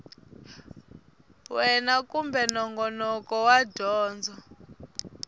wana kumbe nongonoko wa dyondzo